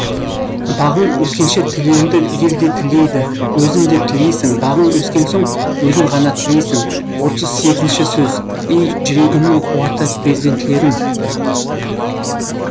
бағың өскенше тілеуіңді ел де тілейді өзің де тілейсің бағың өскен соң өзің ғана тілейсің отыз сегізінші сөз ей жүрегімнің қуаты перзентлерім